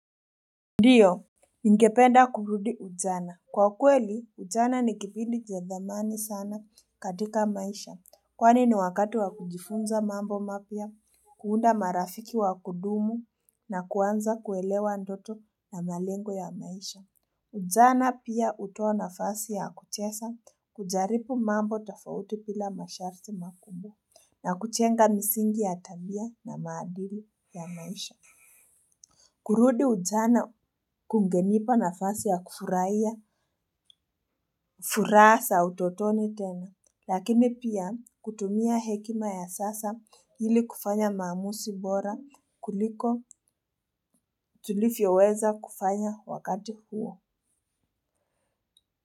Ndiyo, ningependa kurudi ujana. Kwa kweli, ujana ni kipindi ja dhamani sana katika maisha. Kwani ni wakati wa kujifunza mambo mapia, kuunda marafiki wa kudumu na kuanza kuelewa ndoto na malengo ya maisha. Ujana pia utoa nafasi ya kuchesa, kujaripu mambo tafauti pila masharti makubwa, na kuchenga misingi ya tabia na maadili ya maisha. Kurudi ujana kungenipa nafasi ya kufuraha sa utotoni tena, lakini pia kutumia hekima ya sasa hili kufanya mamusi bora kuliko tulifyoweza kufanya wakati huo.